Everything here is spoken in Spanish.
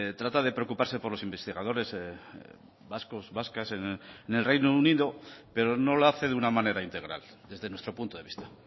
trata de preocuparse por los investigadores vascos vascas en el reino unido pero no lo hace de una manera integral desde nuestro punto de vista